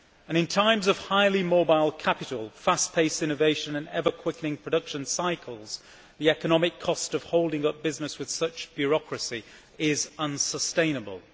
In times of highly mobile capital, fast pace innovation and ever quickening production cycles, the economic cost of holding up business with such bureaucracy is unsustainable.